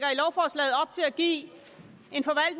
give